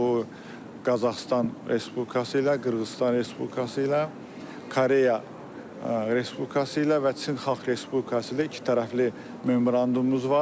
Bu Qazaxıstan Respublikası ilə, Qırğızıstan Respublikası ilə, Koreya Respublikası ilə və Çin Xalq Respublikası ilə ikitərəfli memorandumumuz var.